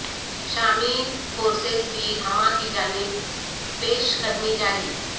شامی فورسز کی حما کی جانب پیش قدمی جاری